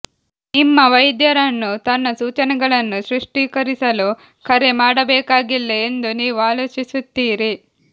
ನಿಮ್ಮ ವೈದ್ಯರನ್ನು ತನ್ನ ಸೂಚನೆಗಳನ್ನು ಸ್ಪಷ್ಟೀಕರಿಸಲು ಕರೆ ಮಾಡಬೇಕಾಗಿಲ್ಲ ಎಂದು ನೀವು ಆಲೋಚಿಸುತ್ತೀರಿ